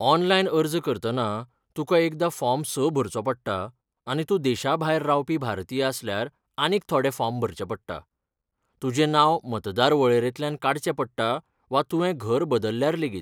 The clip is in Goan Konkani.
ऑनलायन अर्ज करतना, तुका एकदां फॉर्म स भरचो पडटा आनी तूं देशा भायर रावपी भारतीय आसल्यार आनीक थोडे फॉर्म भरचें पडटात, तुजें नांव मतदार वळेरेंतल्यान काडचें पडटा, वा तुवें घर बदल्ल्यार लेगीत.